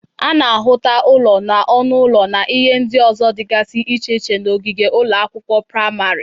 A na-ahụta ụlọ na ọnụ ụlọ na ihe ndị ọzọ dịgazị iche iche n'ogige ụlọ akwụkwọ prịmarị.